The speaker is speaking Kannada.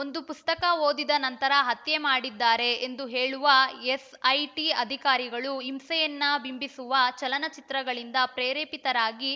ಒಂದು ಪುಸ್ತಕ ಓದಿದ ನಂತರ ಹತ್ಯೆ ಮಾಡಿದ್ದಾರೆ ಎಂದು ಹೇಳುವ ಎಸ್‌ಐಟಿ ಅಧಿಕಾರಿಗಳು ಹಿಂಸೆಯನ್ನ ಬಿಂಬಿಸುವ ಚಲನಚಿತ್ರಗಳಿಂದ ಪ್ರೇರೇಪಿತರಾಗಿ